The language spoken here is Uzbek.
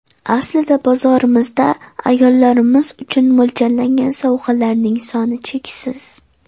Aslida bozorimizda ayollarimiz uchun mo‘ljallangan sovg‘alarning soni cheksiz.